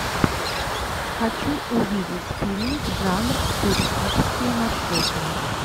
хочу увидеть фильмик жанр туристические маршруты